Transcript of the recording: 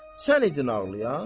Sən idin ağlayan?